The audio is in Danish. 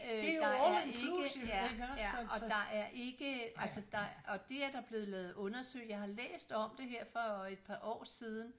Øh der er ikke ja ja og der er ikke altså der og det er der blevet lavet undersøgelser jeg har læst om det her for et par år siden